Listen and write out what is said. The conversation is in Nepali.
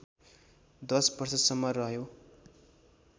१० वर्षसम्म रह्यो